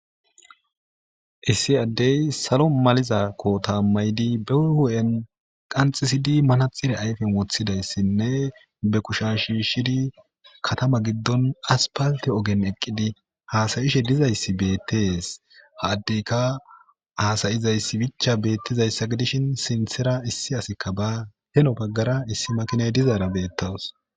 Issi addey salo maliza koota mayidi be hu'en qanxxisidi manaxxire ayfen woththidayssinne be kusha shiishidi katama giddon aspalte ogen eqqidi hasa'ishe dizayssi beettees ha addeykka hasa'izayssi bichcha beetizayssa gidishin sinthera issi asikka baa heno baggara issi makina dizaara beetawus.